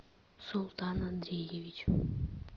султан андреевич